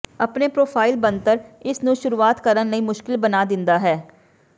ਆਪਣੇ ਪਰੋਫਾਈਲ ਬਣਤਰ ਇਸ ਨੂੰ ਸ਼ੁਰੂਆਤ ਕਰਨ ਲਈ ਮੁਸ਼ਕਲ ਬਣਾ ਦਿੰਦਾ ਹੈ